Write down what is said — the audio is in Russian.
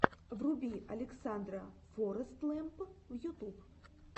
вруби александра форэстлэмп ютуб